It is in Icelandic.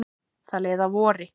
Það leið að vori.